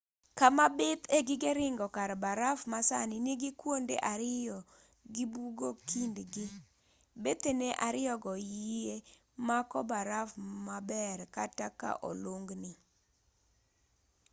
kama bith e gige ringo kar baraf ma sani nigi kuonde ariyo gi bugo kindgi bethene ariyogo yie mako baraf maber kata ka olung'gi